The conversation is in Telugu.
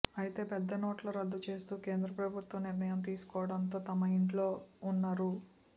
అయితే పెద్దనోట్లు రద్దు చేస్తూ కేంద్ర ప్రభుత్వం నిర్ణయం తీసుకోవడంతో తమ ఇంట్లో ఉన్న రూ